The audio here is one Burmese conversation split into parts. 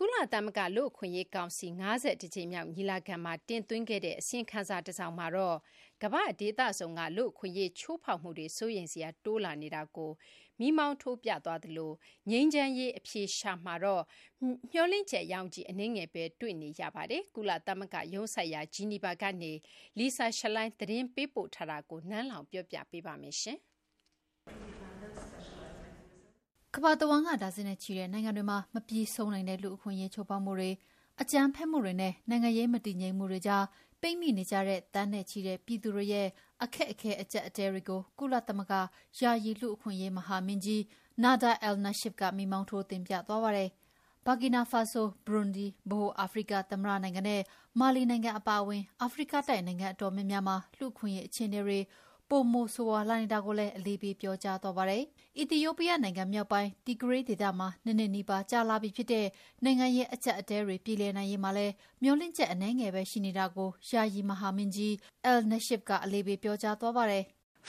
ကုလသမဂ္ဂလူ့အခွင့်အရေးကောင်စီ ၅၁ ကြိမ်မြောက် ညီလာခံမှာ တင်သွင်းခဲ့တဲ့ အစီရင်ခံစာတစောင်မှာတော့ ကမ္ဘာ့ဒေသစုံက လူ့အခွင့်အရေးချိုးဖောက်မှုတွေ စိုးရိမ်စရာ တိုးလာနေတာကို မီးမောင်းထိုးပြသွားသလို ငြိမ်းချမ်းရေး အဖြေရှာမှာတော့ မေ ျှာ်လင့်ချက် ရောင်ခြည်အနည်းငယ်ပဲတွေ့နေရပါတယ်။ ကုလသဂ္ဂရုံးစိုက်ရာ Geneva ကနေ Lisa Schlein သတင်းပေးပို့ထားတာကို နန်းလောင်ဝ်က တင်ပြထားပါတယ်။ ကမ္ဘာတဝန်း ဒါဇင်နဲ့ချီတဲ့ နိုင်ငံတွေမှာ မပြီးဆုံးနိုင်သော လူ့အခွင့်အရေးချိုးဖောက်မှုတွေ၊ အကြမ်းဖက်မှုတွေနဲ့ နိုင်ငံရေးမတည်ငြိမ်မှုတွေကြားမှာပိတ်မိနေကြတဲ့ သန်းနဲ့ချီတဲ့ ပြည်သူတွေရဲ့အခက်အခဲအကျပ်အတည်းတွေကို ကုလသမဂ္ဂ ယာယီလူ့အခွင့်အရေးမဟာမင်းကြီး Nada Al-Nashif က မီးမှောင်းထိုးတင်ပြသွားပါတယ်။ ဘာကီနာဖာဆို၊ ဘရွန်ဒီ၊ ဗဟိုအာဖရိကသမ္မတနိုင်ငံ နဲ့ မာလီနိုင်ငံအပါအဝင် အာဖရိကတိုက်နိုင်ငံအတော်များများမှာ လူ့အခွင့်အရေးအခြေအနေတွေ ပိုမိုဆိုးရွားလာနေတာကိုလည်း အလေးပေးပြောကြားသွားပါတယ်။ အီသီယိုးပီးယားနိုင်ငံ မြောက်ပိုင်း Tigray ဒေသမှာ ၂ နှစ်နီးပါး ကြာလာပြီဖြစ်တဲ့ နိုင်ငံရေးအကျပ်အတည်းတွေ ပြေလည်နိုင်ရေးမှာလည်း မေ ျှာ်လင့်ချက်အနည်းငယ်ပဲရှိနေတာကို ယာယီမဟာမင်းကြီး Al-Nashif က အလေးပေးပြောကြားသွားပါတယ်။ " အ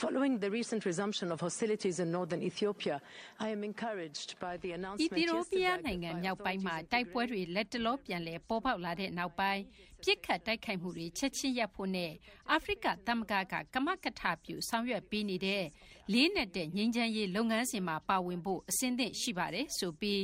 ီသီယိုးပီးယားနိုင်ငံမြောက်ပိုင်းမှာ တိုက်ပွဲတွေ လတ်တလောပြန်လည်ပေါ်ပေါက်လာတဲ့နောက်ပိုင်း ပစ်ခတ်တိုက်ခိုက်မှုတွေ ချက်ချင်းရပ်ဖို့နဲ့ အာဖရိက သမဂ္ဂက ကမကထပြုဆောင်ရွက်ပေးနေတဲ့ လေးနက်တဲ့ ငြိမ်းချမ်းရေးလုပ်ငန်းစဉ်မှာ ပါဝင်ဖို့ အဆင်သင့်ရှိပါတယ်ဆိုပြီး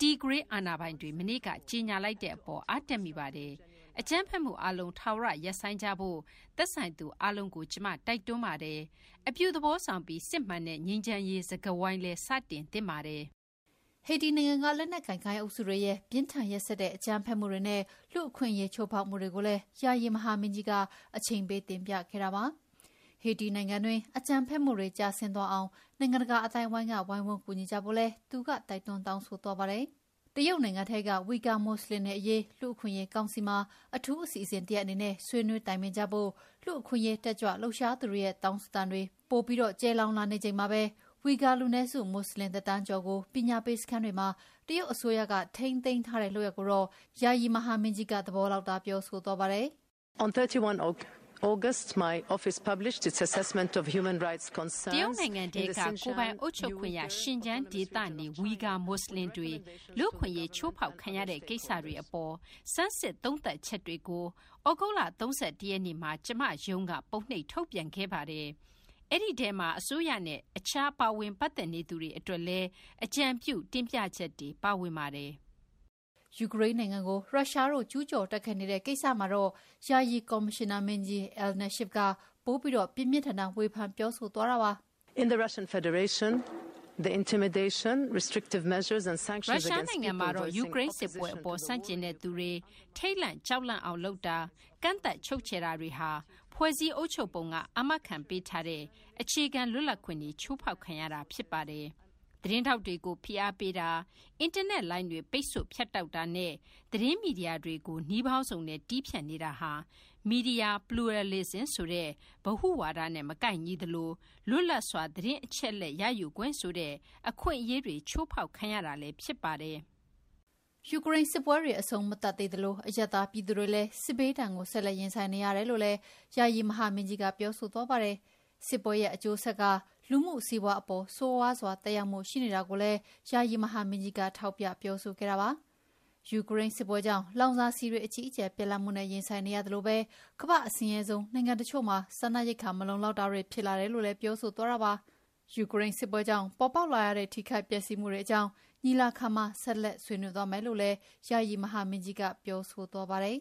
Tigray အာဏာပိုင်တွေမနေ့က ကြေငြာလိုက်တဲ့ အပေါ် အားတက်မိပါတယ်။ အကြမ်းဖက်မှုအားလုံး ထာဝရ ရပ်ဆိုင်းကြဖို့ သက်ဆိုင်သူအားလုံးကို ကျမ တိုက်တွန်းပါတယ်။ နောက်ပြီး အပြုသဘောဆောင်ပြီး စစ်မှန်တဲ့ ငြိမ်းချမ်းရေးစကားဝိုင်း စတင်သင့်ပါတယ်။" ဟေတီနိုင်ငံက လက်နက်ကိုင် ဂိုဏ်းအုပ်စုတွေရဲ့ ပြင်းထန်ရက်စက်တဲ့ အကြမ်းဖက်မှုတွေနဲ့ လူ့အခွင့်အရေးချိုးဖောက်မှုတွေကိုလည်း ယာယီမဟာမင်းကြီးက အချိန်ပေးတင်ပြခဲ့တာပါ။ ဟေတီနိုင်ငံတွင်း အကြမ်းဖက်မှုတွေ ကျဆင်းသွားအောင် နိုင်ငံတကာအသိုင်းအဝိုင်းက ဝိုင်းဝန်းကူညီကြဖို့လည်း သူက တိုက်တွန်းတောင်းဆိုသွားပါတယ်။ တရုတ်နိုင်ငံထဲက ဝီဂါမွတ်ဆလင်တွေအရေး လူ့အခွင့်အရေးကောင်စီမှာ အထူးအစီအစဉ်တရပ်အနေနဲ့ ဆွေးနွေးတိုင်ပင်ဖို့ လူ့အခွင့်အရေးတက်ကြွလှုပ်ရှားသူတွေရဲ့ တောင်းဆိုသံတွေလည်း ပိုပြီး ကျယ်လောင်လာနေချိန်မှာပဲ ဝီဂါ လူနည်းစု မွတ်ဆလင်တသန်းကျော်ကို ပညာပေးစခန်းတွေမှာ တရုတ်အစိုးရက ထိန်းသိမ်းထားတဲ့လုပ်ရပ်ကိုတော့ ယာယီမဟာမင်းကြီးက သဘောလောက်သာ ပြောဆိုသွားပါတယ်။ "တရုတ်နိုင်ငံထဲက ကိုယ်ပိုင်အုပ်ချုပ်ခွင့်ရ Xinjiang ဒေသနေ ဝီဂါမွတ်ဆလင်တွေ လူ့အခွင့်အရေးချိုးဖောက်ခံရတဲ့ ကိစ္စတွေအပေါ် ဆန်းစစ်သုံးသပ်ချက်တွေကို သြဂုတ်လ ၃၁ ရက်နေ့မှာ ကျမရုံးက ပုံနှိပ်ထုတ်ပြန်ခဲ့ပါတယ်။ အဲဒီထဲမှာ အစိုးရနဲ့ အခြားပါဝင်ပတ်သက်နေသူတွေ အတွက်လည်း အကြံပြုတင်ပြချက်တွေ ပါဝင်ပါတယ်။ " ယူကရိန်းနိုင်ငံကို ရုရှားတို့ ကျူးကျော်တိုက်ခိုက်နေတဲ့ ကိစ္စမှာတော့ ယာယီကော်မရှင်နာမင်းကြီး Al-Nashif က ပိုပြီး ပြင်းပြင်းထန်ထန် ဝေဖန်ပြောဆိုသွားပါတယ်။ "ရုရှားနိုင်ငံမှာတော့ ယူကရိန်းစစ်ပွဲအပေါ် ဆန့်ကျင်တဲ့ သူတွေထိတ်လန့် ကြောက်လန့်အောင်လုပ်တာ၊ ကန့်သတ်ချုပ်ခြယ်တာတွေဟာ ဖွဲ့စည်းအုပ်ချုပ်ပုံက အာမခံပေးထားတဲ့ အခြေခံလွတ်လပ်ခွင့်တွေ ချိုးဖောက်ခံရတာဖြစ်ပါတယ်။ သတင်းထောက်တွေကို ဖိအားပေးတာ၊ အင်တာနက်လိုင်းတွေ ပိတ်ဆို့ဖြတ်တောက်တာနဲ့ သတင်းမီဒီယာတွေကို နည်းပေါင်းစုံနဲ့ တည်းဖြတ်နေတာဟာ media pluralism ဆိုတဲ့ ဗဟုဝါဒနဲ့ မကိုက်ညီသလို လွတ်လပ်စွာ သတင်းအချက်အလက်ရယူခွင့်ဆိုတဲ့ အခွင့်အရေးတွေချိုးဖောက်ခံရတာလည်းဖြစ်ပါတယ်" ယူကရိန်းစစ်ပွဲတွေ အဆုံးမသတ်သေးသလို အရပ်သားပြည်သူတွေလည်း စစ်ဘေးဒဏ်ကိုဆက်လက်ရင်ဆိုင်နေရတယ်လို့လည်း ယာယီမဟာမင်းကြီး Al-Nashif ကပြောဆိုသွားပါတယ်။ စစ်ပွဲရဲ့အကျိုးဆက်က လူမှုစီးပါွးအပေါ် ဆိုးရွားစွာ သက်ရောက်မှုတွေရှိနေတာကိုလည်း ယာယီမဟာမင်းကြီးက ထောက်ပြပြောဆိုခဲ့တာပါ။ ယူကရိန်းစစ်ပွဲကြောင့် လောင်စာဆီတွေ အကြီးအကျယ်ပြတ်လတ်မှုနဲ့ ရင်ဆိုင်ရသလိုပဲ ကမ္ဘာ့အဆင်းရဲဆုံးနိုင်ငံတချို့မှာ စားနပ်ရိက္ခာမလုံလောက်တာတွေ ဖြစ်လာတယ်လို့လည်း ပြောဆိုသွားပါတယ်။ ယူကရိန်းစစ်ပွဲကြောင့် ပေါ်ပေါက်လာရတဲ့ ထိခိုက်ပျက်စီးမှုတွေအကြောင်း ညီလာခံမှာ ဆက်လက်ဆွေးနွေးသွားမယ်လို့လည်း ယာယီမဟာမင်းကြီးက ပြောဆိုသွားပါတယ်